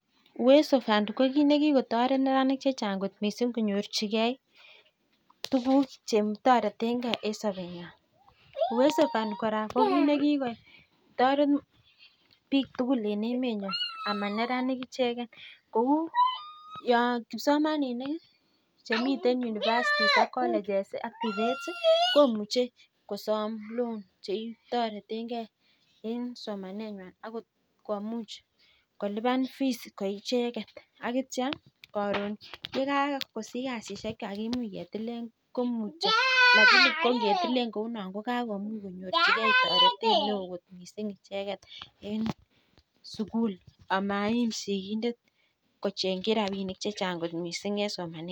Uweso fund ko kit nekikotaret neranik chechang mising konyorchigei tuguk chetareten gei en Sabet nyin uwezo fund koraa ko kit ko kit nekikotaret bik tugul en emet nyon anan neranik icheken Kou kipsomaninik Chemiten University ak college ak tvets komuche kosam loan chetareten gei en somanywan akot komuch koluban fees koicheken akitya Karon yikakosich kasinywan komuch ketilen lakini kongetilen kounon kokakomich konyorchigei taretet mising icheket en sukul amaim sikindet kochengin rabinik chechang kot mising en somanenywan